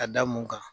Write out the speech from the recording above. Ka da mun kan